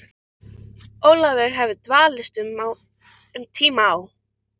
Ólafur hafði dvalist um tíma á